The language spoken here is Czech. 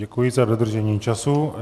Děkuji za dodržení času.